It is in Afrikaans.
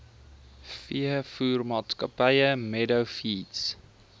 veevoermaatskappy meadow feeds